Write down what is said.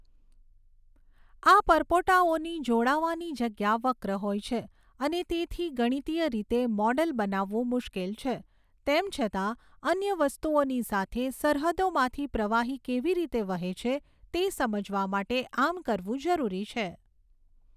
આ પરપોટાઓની જોડાવાની જગ્યા વક્ર હોય છે, અને તેથી ગણિતીય રીતે મૉડલ બનાવવું મુશ્કેલ છે. તેમ છતાં, અન્ય વસ્તુઓની સાથે સરહદોમાંથી પ્રવાહી કેવી રીતે વહે છે તે સમજવા માટે આમ કરવું જરૂરી છે.